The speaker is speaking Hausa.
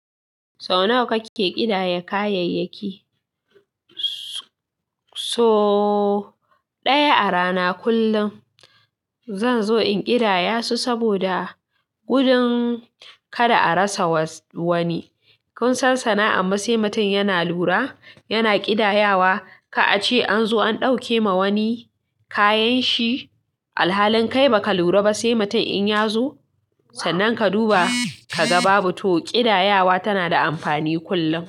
Sau nawa kake ƙidaya kayayyaki? So ɗaya a rana. Kullum zan zo in kidayasu saboda gudun kada a rasa wani. Kun san sana'an ma sai mutum yana lura, yana ƙidayawa, ka a ce an zo an ɗauke ma wani kayan shi, alhalin kai ba ka lura ba sai mutum in ya zo, sannan ka duba ka ga babu. To kidayawa tana da amfani kullum.